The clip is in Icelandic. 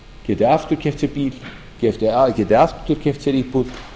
geti aftur keypt sér bíl geti aftur keypt sér íbúð